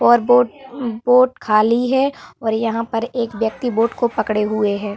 और boat boat खाली है और यहाँ पर एक व्यक्ति बोट को पकड़े हुए है।